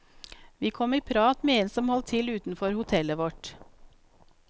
Vi kom i prat med en som holdt til utenfor hotellet vårt.